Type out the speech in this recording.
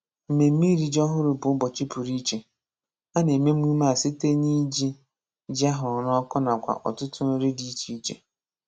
Mmemme iri ji ọhụrụ bụ ụbọchị pụrụ iche: A na-eme emume a site n'iji ji a hụrụ n'ọkụ nakwa ọtụtụ nri dị iche iche